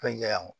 Fɛn ja o